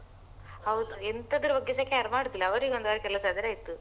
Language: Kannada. ಹೌದು ಎಂತದ್ರು ಬಗ್ಗೆಸ care ಮಾಡುದಿಲ್ಲ ಅವರಿಗೆ ಒಂದು ಅವರ ಕೆಲಸ ಆದ್ರೆ ಆಯ್ತು.